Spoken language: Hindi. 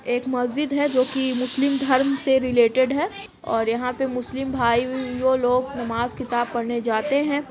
एक मस्जिद है जो कि मुस्लिम धर्म से रिलेटेड है और यहाँ पे मुस्लिम भाइयों लोग नमाज किताब पढ़ने जाते हैं।